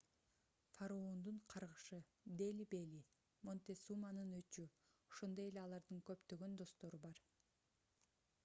фараондун каргышы дели бели монтесуманын өчү ошондой эле алардын көптөгөн достору бар